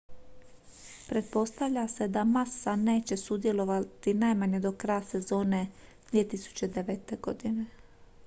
pretpostavlja se da massa neće sudjelovati najmanje do kraja sezone 2009. godine